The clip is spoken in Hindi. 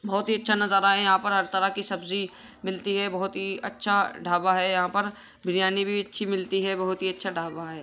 बहुत ही अच्छा नज़ारा है यहाँ पर हर तरह की सब्जी मिलती हैं बोहत ही अच्छा ढाबा है यहाँ पर बिरयानी भी अच्छी मिलती है बोहोत ही अच्छा ढाबा है।